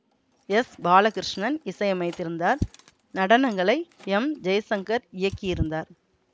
S Balakrishnan இசையமைத்திருந்தார் நடனங்களை M Jayashankar இயக்கியிருந்தார்